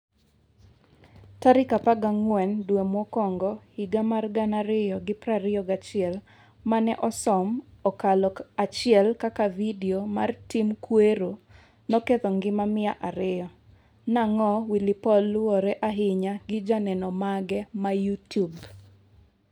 tarik 14 due mokuongo 2021 mane osom okalo 1 kaka vidio mar tim kuero noketho ngima miyo ariyo . Nang'o Willy paul luwore ahinya gi joneno mage ma YouTube